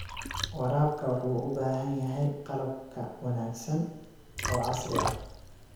Waraabka wuxuu u baahan yahay qalab ka wanaagsan oo casri ah.